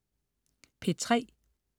P3: